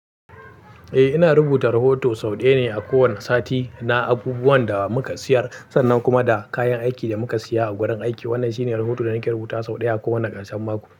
Eh, ina rubuta rahoto sau ɗaya ne a kowane sati na abubuwan da muka siyar sannan kuma da kayan aiki da muka siya a gurin aiki. Wannan shine rahoto da nake rubutawa sau ɗaya a kowane ƙarshen mako.